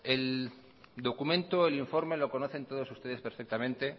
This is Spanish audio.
el documento el informe lo conocen todos ustedes perfectamente